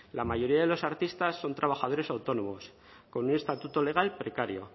la mayoría de los artistas son trabajadores autónomos con un estatuto legal precario